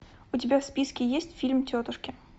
у тебя в списке есть фильм тетушки